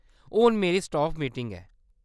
हुन मेरी staff meeting ऐ।